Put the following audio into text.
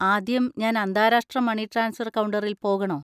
ആദ്യം ഞാൻ അന്താരാഷ്ട്ര മണി ട്രാൻസ്ഫർ കൗണ്ടറിൽ പോകണോ?